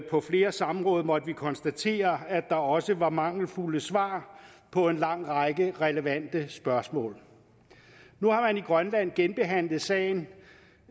på flere samråd måtte vi konstatere at der også var mangelfulde svar på en lang række relevante spørgsmål nu har man i grønland genbehandlet sagen